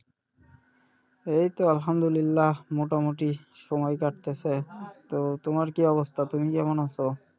এইতো আলহামদুলিল্লা মোটামটি সময় কাটতেছে তো তোমার কী অবস্থা তুমি কেমন আছো?